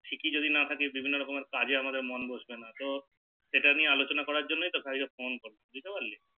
Fit যদি না থাকি তাহলে বিভিন্ন রকমের কাজে আমাদের মন বসবে না তো সেটা নিয়ে আলোচনা করার জন্য তোকে একবার Phone করলাম বুঝতে পারলি